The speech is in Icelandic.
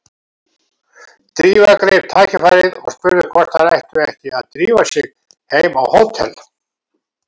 Drífa greip tækifærið og spurði hvort þær ættu ekki að drífa sig heim á hótel.